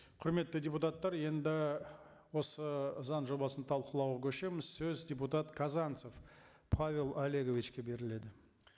құрметті депутаттар енді осы заң жобасын талқылауға көшеміз сөз депутат казанцев павел олеговичке беріледі